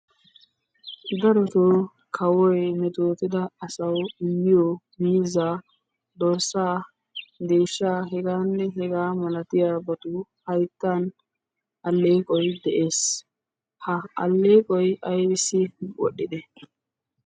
Darotoo kawoy metettotida asaw immiyo miiza, dorssa, deehshsha heganne hega malatiyaabatu hayttan alleeqoy de'ees. Ha alleeqoy aybbissi wodhdhide?